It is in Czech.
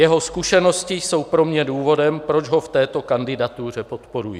Jeho zkušenosti jsou pro mě důvodem, proč ho v této kandidatuře podporuji.